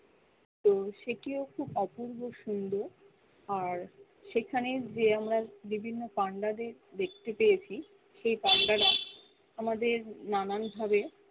তো সে কিও খুব অপূর্ব সুন্দর আর সেখানে যে আমরা বিভিন্ন পান্ডাদের দেখতে পেরেছি সেই পান্ডারা আমাদের নানান ভাবে